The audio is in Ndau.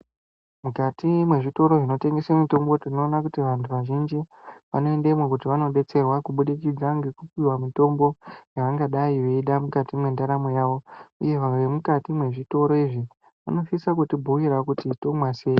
Mukati mwezvitoro zvinotengese mitombo tinoona kuti vanhu vazhinji vanoendemwo kuti vandodetserwa kubudikidza ngekupiwa mutombo yavangadai veida mukati mwendaramo yavo ivo vemukati mwezvitoro izvi vanosisa kutibhuirawo kuti tomwa sei.